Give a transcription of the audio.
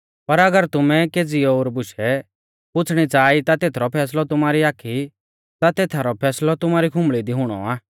पर अगर तुमै केज़ी ओर बुशै पुछ़णी च़ाहा ई ता तेथरौ फैसलौ आमारी खुंबल़ी दी हुणौ आ